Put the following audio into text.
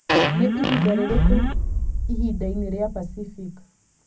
nĩ ihinda rĩrĩkũ ihinda-inĩ rĩa Pacific